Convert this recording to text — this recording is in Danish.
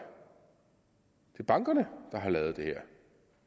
er bankerne der har lavet det her